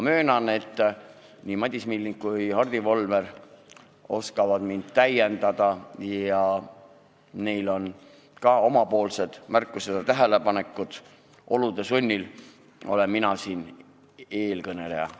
Möönan, et nii Madis Milling kui ka Hardi Volmer oskavad mind täiendada ning neil on ka oma märkused ja tähelepanekud, olude sunnil aga olen mina täna siin nende eestkõneleja.